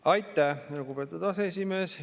Aitäh, lugupeetud aseesimees!